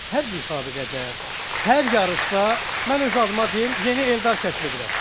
Hər müsabiqədə, hər yarışda mən öz adıma deyim yeni Eldar kəşf edirəm.